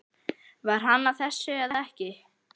Var hann að þessu eða ekki?